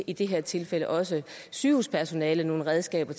i det her tilfælde også sygehuspersonalet nogle redskaber